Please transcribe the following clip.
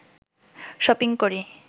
shopping করি